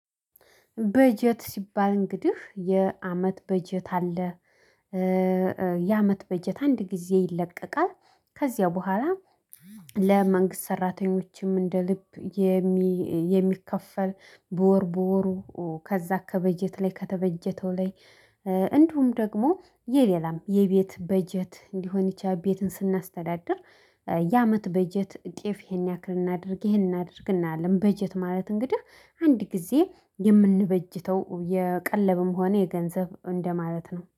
በጀት ሲባል እንግዲህ የአመት በጀት አለ። የአመት በጀት አንድ ጊዜ ይለቀቃል ከዚያ በኋላ። ለመንግስት ሰራተኞችም እንደ ልብ የሚከፈል በወር በወሩ ከዛ ከበጀት ላይ ከተበጀተው ላይ። እንዲሁም ደግሞ የሌላም የቤት በጀት ሊሆን ይችላል ቤትን ስናስተዳድር። የአመት በጀት ጤፍ ይሄን ያክል እናድርግ ይሄን እናድርግ እናያለን። በጀት ማለት እንግዲህ አንድ ጊዜ የምንበጅተው የቀለብም ሆነ የገንዘብ እንደማለት ነው